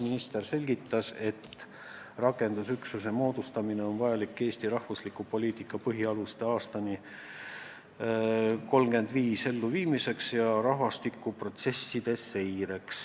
Minister selgitas, et rakendusüksuse moodustamine on vajalik, et viia ellu Eesti rahvastikupoliitika põhialused aastani 2035, samuti rahvastikuprotsesside seireks.